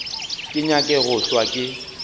ke nyake go hlwa ke